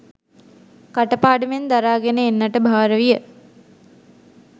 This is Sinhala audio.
කට පාඩමෙන් දරාගෙන එන්නට භාර විය.